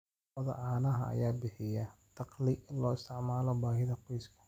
Lo'da caanaha ayaa bixiya dakhli loo isticmaalo baahida qoyska.